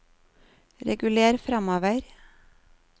reguler framover